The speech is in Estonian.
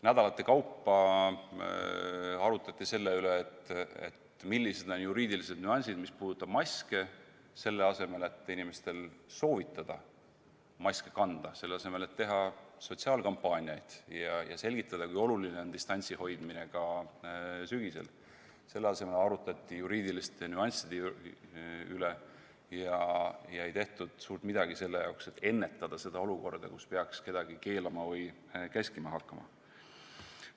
Nädalate kaupa arutati selle üle, millised on juriidilised nüansid, mis puudutab maske, selle asemel et inimestel soovitada maski kanda, selle asemel et teha sotsiaalkampaaniaid ja selgitada, kui oluline on distantsi hoidmine ka sügisel, arutati juriidiliste nüansside üle ega tehtud suurt midagi selleks, et ennetada olukorda, kus peaks kedagi keelama või käskima hakkama.